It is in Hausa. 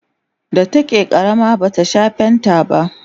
da take ƙarama bata Sha fanta ba